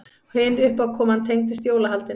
Hin uppákoman tengdist jólahaldinu.